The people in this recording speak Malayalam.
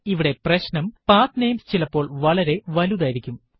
ഇവിടെ പ്രശ്നം പത്നമേസ് ചിലപ്പോൾ വളരെ വലുതായിരിക്കും